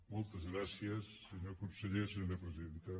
moltes gràcies senyor conseller senyora presidenta